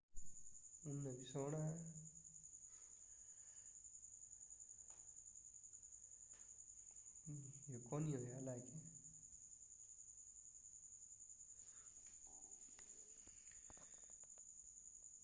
پاڻي جا ماليڪيول پالڻي جي مٿاڇري تي لڪيل تهہ ٺاهي ٿا جنهن تي سوئي جهڙيون شيون بہ پاڻي تي ترنديون آهن